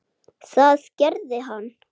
Það gerði hann.